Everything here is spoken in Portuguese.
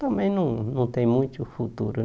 Também não não tem muito futuro